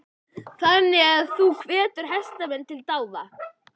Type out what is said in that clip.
Þannig að þú hvetur hestamenn til dáða?